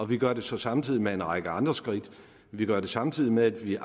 vi gør det så samtidig med en række andre skridt vi gør det samtidig med at vi